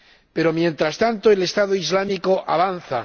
Pero mientras tanto, el Estado Islámico avanza.